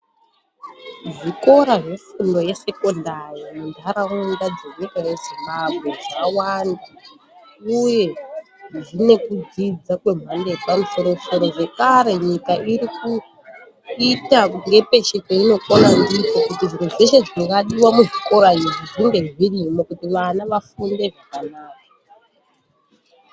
Zvikora zvefundo yesekondari munharaunda dzenyika yeZimbabwe zvawanda uye zvine kudzidza kwemhando yepamusoro-soro. Zvekare nyika irikuita kuti nepeshe painokona ndipo kuti zviro zveshe zvingadiwa kuchikorayo zvinge zvirimwo kuti vana vafunde zvakanaka.